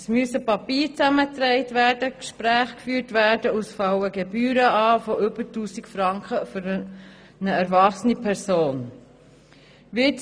Es müssen Papiere zusammengetragen, Gespräche geführt werden und es fallen Gebühren von über 1000 Franken für eine erwachsene Person an.